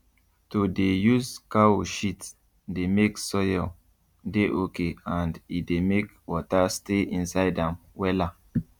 to dey use cow shit dey make soil dey okay and e dey make water stay inside am wella